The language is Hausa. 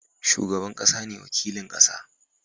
Shugaban ƙasa ne wakilin ƙasa